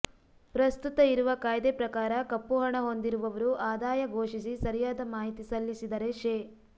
ಪ್ರಸ್ತುತ ಇರುವ ಕಾಯ್ದೆ ಪ್ರಕಾರ ಕಪ್ಪು ಹಣ ಹೊಂದಿರುವವರು ಆದಾಯ ಘೋಷಿಸಿ ಸರಿಯಾದ ಮಾಹಿತಿ ಸಲ್ಲಿಸಿದರೆ ಶೇ